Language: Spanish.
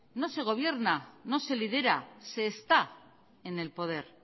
no se gobierna no se lidera se está en el poder